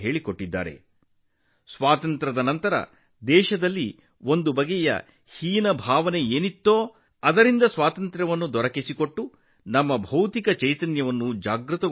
ಒಂದು ರೀತಿಯಲ್ಲಿ ಸ್ವಾತಂತ್ರ್ಯಾನಂತರ ದೇಶದಲ್ಲಿ ತಲೆದೋರಿದ್ದ ಕೀಳರಿಮೆಯಿಂದ ನಮ್ಮನ್ನು ಮುಕ್ತಗೊಳಿಸಿ ನಮ್ಮ ಬೌದ್ಧಿಕ ಪ್ರಜ್ಞೆಯನ್ನು ಜಾಗೃತಗೊಳಿಸಿದರು